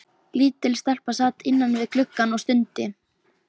Lítil stelpa sat innan við gluggann og stundi.